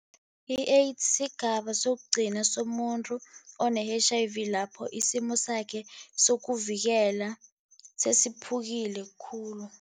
I-AIDS sigaba sokugcina somuntu one-H_I_V, lapho isimo sakhe sokuvikela sesiphukile khulu.